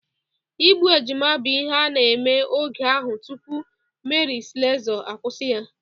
Igbu ejima bụ ihe a na-eme oge ahụ tụpụ Meri Slesọ akwụsi ya.